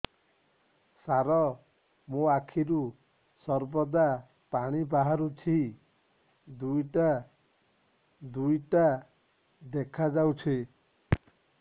ସାର ମୋ ଆଖିରୁ ସର୍ବଦା ପାଣି ବାହାରୁଛି ଦୁଇଟା ଦୁଇଟା ଦେଖାଯାଉଛି